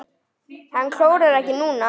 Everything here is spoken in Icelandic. Hann klórar ekki núna.